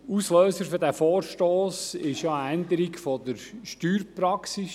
Auslöser dieses Vorstosses war eine Änderung der Steuerpraxis.